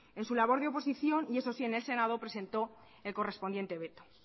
en su labor de oposición y eso sí en el senado presentó el correspondiente veto